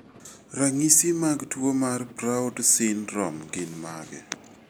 Ranyi mag tuwo mar Proud syndrome gin mage?